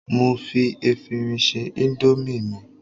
mo fi efirin se Indomie mi